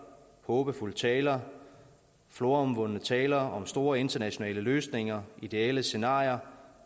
håbefulde taler floromvundne taler om store internationale løsninger og ideelle scenarier